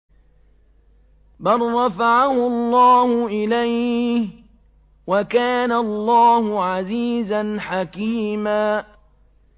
بَل رَّفَعَهُ اللَّهُ إِلَيْهِ ۚ وَكَانَ اللَّهُ عَزِيزًا حَكِيمًا